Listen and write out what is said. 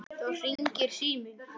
Þá hringir síminn.